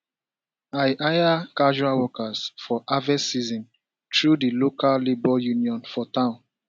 i hire casual workers for harvest season through di local labour union for town